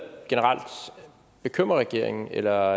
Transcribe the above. generelt bekymrer regeringen eller